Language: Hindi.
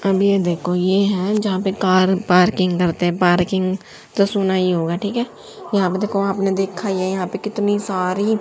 अब ये देखो ये है जहां पे कार पार्किंग करते हैं पार्किंग तो सुना ही होगा ठीक है यहां पे देखो आपने देखा ही है यहां पे कितनी सारी--